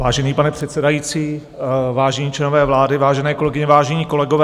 Vážený pane předsedající, vážení členové vlády, vážené kolegyně, vážení kolegové.